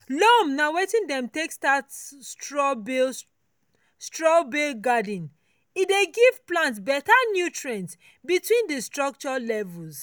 loam na wetin dem take start straw bale straw bale garden e dey give plant better nutrients between di structure levels.